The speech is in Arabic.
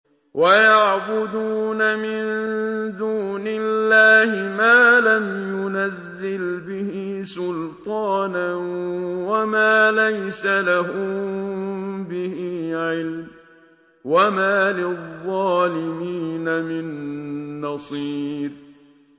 وَيَعْبُدُونَ مِن دُونِ اللَّهِ مَا لَمْ يُنَزِّلْ بِهِ سُلْطَانًا وَمَا لَيْسَ لَهُم بِهِ عِلْمٌ ۗ وَمَا لِلظَّالِمِينَ مِن نَّصِيرٍ